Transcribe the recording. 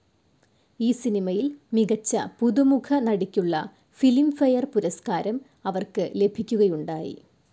ഈ സിനിമയിൽ മികച്ച പുതുമുഖ നടിക്കുള്ള ഫിലിംഫെയർ പുരസ്ക്കാരം അവർക്ക് ലഭിക്കുകയുണ്ടായി.